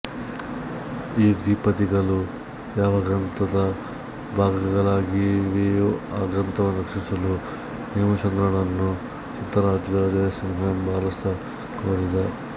ಈ ದ್ವಿಪದಿಗಳು ಯಾವ ಗ್ರಂಥದ ಭಾಗಗಳಾಗಿವೆಯೋ ಆ ಗ್ರಂಥವನ್ನು ರಚಿಸಲು ಹೇಮಚಂದ್ರನನ್ನು ಸಿದ್ಧರಾಜ ಜಯಸಿಂಹ ಎಂಬ ಅರಸ ಕೋರಿದ